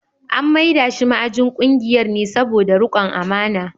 An mai da shi ma’ajin kungiyar ne saboda rikon amana.